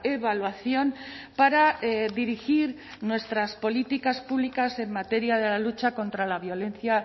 evaluación para dirigir nuestras políticas públicas en materia de la lucha contra la violencia